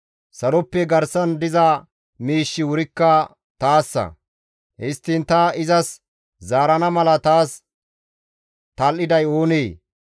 Saloppe garsan diza miishshi wurikka taassa; histtiin ta izas zaarana mala taas tal7iday oonee?